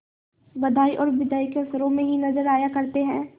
बधाई और बिदाई के अवसरों ही में नजर आया करते हैं